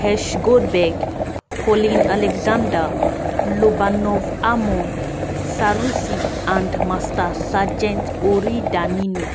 hersh goldberg-polin alexander lobanov almog sarusi and master sgt ori danino.